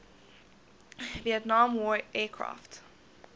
vietnam war aircraft